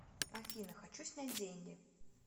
афина хочу снять деньги